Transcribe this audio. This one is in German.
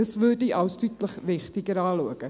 Das würde ich als deutlich wichtiger ansehen.